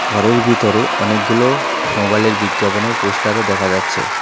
ঘরের ভিতরে অনেকগুলো মোবাইলের বিজ্ঞাপনের পোস্টারও দেখা যাচ্ছে।